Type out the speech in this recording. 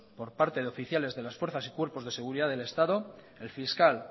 por parte de oficiales de las fuerzas y cuerpos de seguridad del estado el fiscal